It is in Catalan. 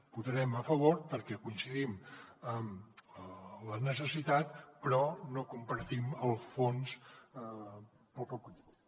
hi votarem a favor perquè coincidim en la necessitat però no compartim el fons pel poc contingut